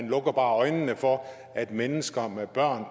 lukker øjnene for at mennesker med børn